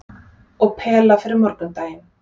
Og pela fyrir morgundaginn.